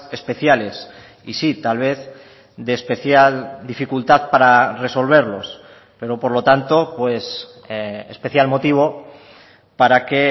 especiales y sí tal vez de especial dificultad para resolverlos pero por lo tanto pues especial motivo para que